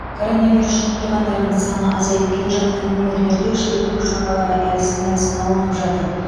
коронавирус жұқтырғандардың саны азайып келе жатқан өңірлерде шектеу шаралары әлсін әлсін алынып жатыр